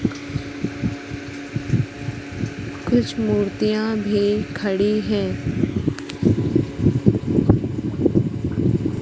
कुछ मूर्तियां भी खड़ी है।